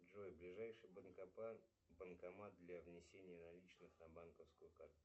джой ближайший банкомат для внесения наличных на банковскую картц